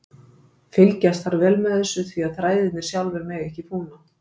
Fylgjast þarf vel með þessu því að þræðirnir sjálfir mega ekki fúna.